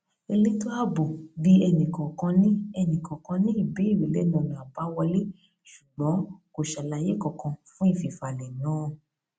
elétò ààbò bi ẹnìkọọkan ní ẹnìkọọkan ní ìbéèrè lẹnu ọnà abáwọlé ṣùgbọn kò ṣe alàyé kankan fún ìfifalẹ náà